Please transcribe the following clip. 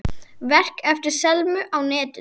Verk eftir Selmu á netinu